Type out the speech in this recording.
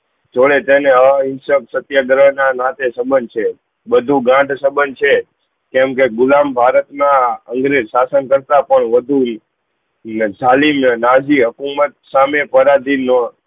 જોડે તેને હા સત્યાગર્હ ના નાતે સમજ છે બધું ગાંઠ સંબંધ છે કેમ કે ગુલામ ભારત ના શાશન કરતા પણ વધુ ને જહાલી ને નાજી હુકુમત સામે પારદિનો